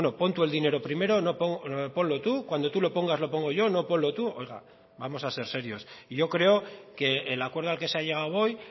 bueno pon tú el dinero primero no ponlo tú cuando tú lo pongas lo pongo yo no ponlo tú oiga vamos a ser serios y yo creo que el acuerdo al que se ha llegado hoy